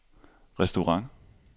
restaurant